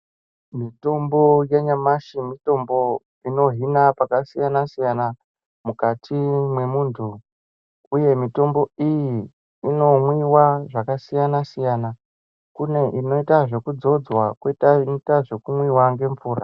Mitombo yanyamashi mitombo inohina pakasiyana siyana mukati mwemuntu uye mitombo iyi inomwiwa zvakasiyana siyana. Kune inoita zvekudzodzwa. Kwoita inoita zvekumwiwa nemvura.